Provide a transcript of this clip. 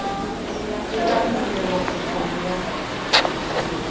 e ka nyollelwa kopong ya